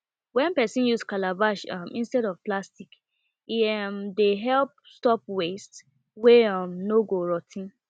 when person use calabash um instead of plastic e um dey help stop waste wey um no go rot ten